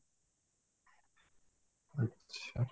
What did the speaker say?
ଆଚ୍ଛା